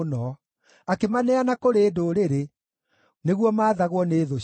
Akĩmaneana kũrĩ ndũrĩrĩ, nĩguo maathagwo nĩ thũ ciao.